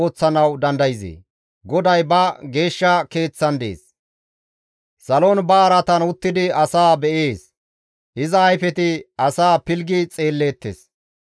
GODAY ba geeshsha Keeththan dees; salon ba araatan uttidi asaa be7ees; iza ayfeti asaa pilggi xeelleettes.